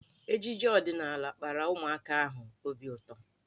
Ejije ọdịnaala kpara ụmụaka ahụ obi ụtọ.